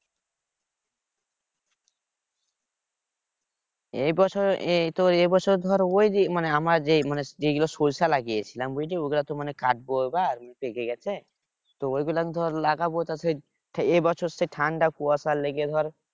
এই বছর এই তোর এই বছর ধর ঐ যে মানে আমরা যেই মানে যেই গুলা সরষে লাগিয়েছিলাম বুঝলি ঐ গুলা তো মানে কাটবো এবার পেকে গেছে তো গুলাতে ধর লাগাবো তা সেই এ বছর সেই ঠান্ডা কুয়াশা লেগে ধর